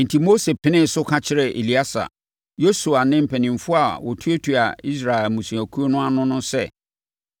Enti, Mose penee so ka kyerɛɛ Eleasa, Yosua ne mpanimfoɔ a wɔtuatua Israel mmusuakuo ano no sɛ,